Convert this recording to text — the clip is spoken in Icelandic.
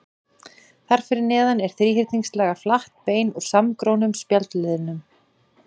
Þar fyrir neðan er þríhyrningslaga flatt bein úr samgrónum spjaldliðum.